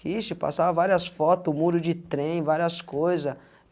Que isso, de passar várias foto, o muro de trem, várias coisa.